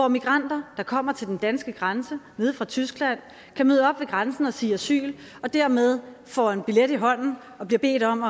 migranter der kommer til den danske grænse nede fra tyskland kan møde op ved grænsen og sige asyl og dermed få en billet i hånden og blive bedt om